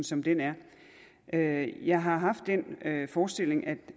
som den er er jeg har haft den forestilling at